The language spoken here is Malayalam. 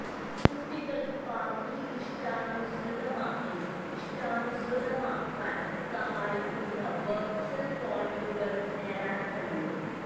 കുട്ടികൾക്ക് സ്പാർക്ക്ലി ഇഷ്ടാനുസൃതമാക്കി ഇഷ്ടാനുസൃതമാക്കാൻ സഹായിക്കുന്ന വെർച്വൽ പോയിന്റുകൾ നേടാൻ കഴിയും